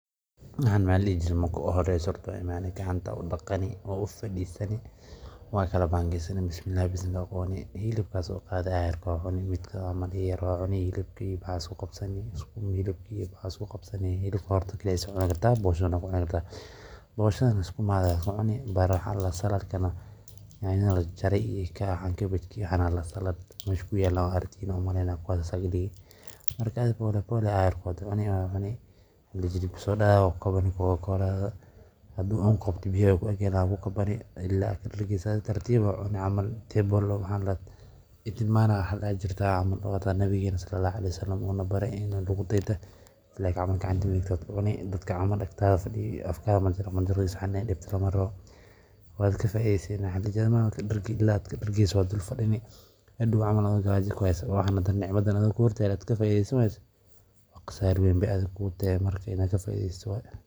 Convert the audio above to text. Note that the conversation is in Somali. Marka uhoreyso horta gacanta ayaa udaqani, waa ufadiisani, waa kala bangeesani, Bismillah ayaa kucuni, hilibka ayaa soo qaadi aayarko, hilibka iyo waxaa isku qabsani sukuma, hilibka horta kaligiis waa cuni kartaa booshada na waa ku qabsani kartaa, boshadana sukumaga kucuni, saladkana waa is agdigi, aayarko ayaa cuni, haduu oo kuqabto biya waay ku ag yaalan waa cabi ilaa aad kadargeyso adhi tartiib ayaa cuni camal, wax ihtimaam ladoho ayaa jirtaa oo xitaa nabigeena salalahu aleihi wasalam uu nabare in lagu daydo, gacanta midigta ayaa kucuni, dadka aktaada fadiyo inaay afkaaga iyo saxantaada dibto lama rabo, waad kadargi, ilaad kadargeyso waa fadini, hadoow camal adhigo gaaja kuheyso adhigo nimcadan haysate oo ka faideysan wayse waa qasaarta weyn.